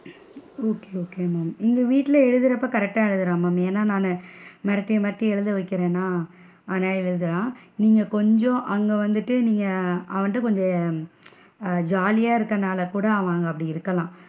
Okay okay ma'am இங்க வீட்ல எழுதுறப்ப correct டா எழுதுறான் ஏன்னா? நானு, மிரட்டி மிரட்டி எழுத வைக்கிறேன்னா நல்லா எழுதுறான் நீங்க கொஞ்சம் அங்க வந்துட்டு நீங்க அதாவது நீங்க ஆஹ் jolly யா இருக்கனாலகூட அவன் அங்க அப்படி இருக்கலாம்.